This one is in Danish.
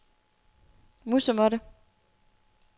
musemåtte